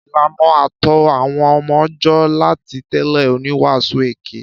Ìlàná àtọ àwon ọmọ jọ làtí tẹlẹ òníwàsú èké.